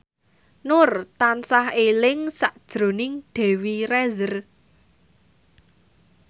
Nur tansah eling sakjroning Dewi Rezer